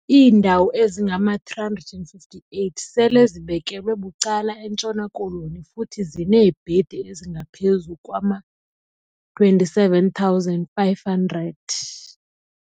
Iindawo ezingama-358 sele zibekelwe bucala eNtshona Koloni, futhi zineebhedi ezingaphezulu kwama-27 500.